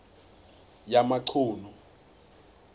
yamachunu